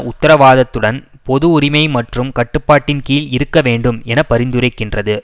உத்தரவாதத்துடன் பொது உரிமை மற்றும் கட்டுப்பாட்டின் கீழ் இருக்க வேண்டும் என பரிந்துரைக்கின்றது